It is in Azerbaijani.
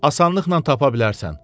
Asanlıqla tapa bilərsən.